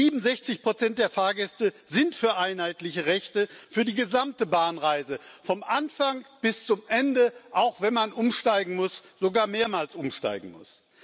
67 der Fahrgäste sind für einheitliche Rechte für die gesamte Bahnreise vom Anfang bis zum Ende, auch wenn man umsteigen muss, sogar mehrmals umsteigen muss.